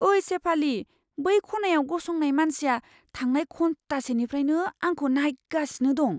ओइ शेफाली, बै खनायाव गसंनाय मानसिया थांनाय घन्टासेनिफ्रायनो आंखौ नायगासिनो दं!